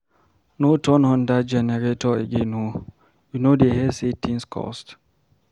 No turn on dat generator again oo, you no dey hear say things cost?